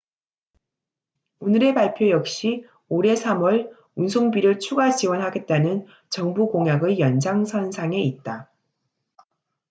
오늘의 발표 역시 올해 3월 운송비를 추가 지원하겠다는 정부 공약의 연장선상에 있다